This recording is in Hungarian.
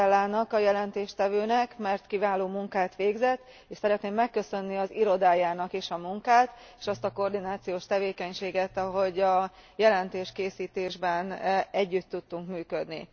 Pitellának, az előadónak, mert kiváló munkát végzett, és szeretném megköszönni az irodájának is a munkát és azt a koordinációs tevékenységet, ahogy a jelentéskészítésben együtt tudtunk működni.